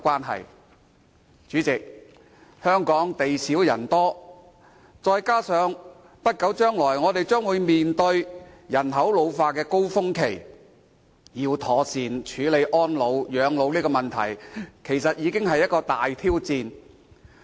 代理主席，香港地少人多，再加上不久將來，我們將面對人口老化的高峰期，要妥善處理安老及養老問題，其實是一個大挑戰。